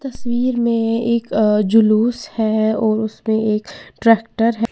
तस्वीर में एक अ जुलूस है और उसपे एक ट्रैक्टर है।